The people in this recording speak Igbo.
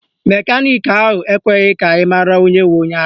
Mekaniki ahụ ekweghị ka anyị mara onye bụ onye ara